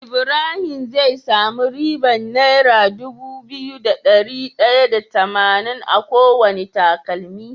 Ibahim ze masu ribar naira Dubu biyu da dari daya da tamanin akowane takalmi